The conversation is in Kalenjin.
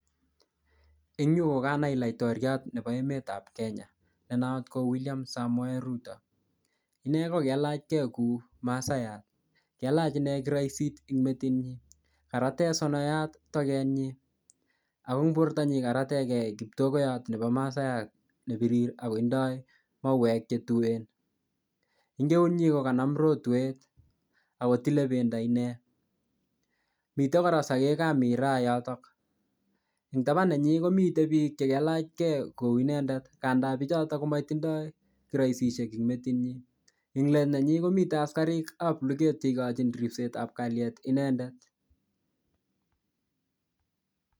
Eng yu, ko kanai laotoriat nebo emetab Kenya, ne not ko William Samoei Ruto. Ine kokelachkey kou masaiyat. Kelach inee kiroisit ing metit nyi. Karate sonoiyat toget nyi. Ago eng borto nyi, karategey kiptogoyot nebo masaiyat ne birir, ako tindoi mauek che tuen. Eng keut nyi kokanam rotwet, akotile pendo inee. Mitei kora sagekab miraa yotok. Eng taban nenyi komitei biik che kelachkey kou inendet. Kandaa bichotok ko matindoi kiroisishek eng metit nyi. Eng let nenyi komite askarikab luget che ikochin ripsetab kalyet inendet.